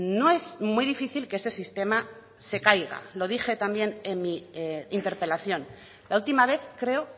no es muy difícil que ese sistema se caiga lo dije también en mi interpelación la última vez creo